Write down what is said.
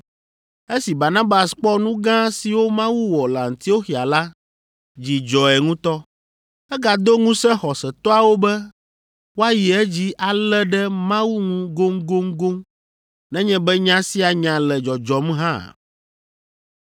Esi Barnabas kpɔ nu gã siwo Mawu wɔ le Antioxia la, dzi dzɔe ŋutɔ. Egado ŋusẽ xɔsetɔawo be woayi edzi alé ɖe Mawu ŋu goŋgoŋgoŋ nenye be nya sia nya le dzɔdzɔm hã.